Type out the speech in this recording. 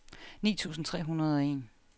ni tusind tre hundrede og en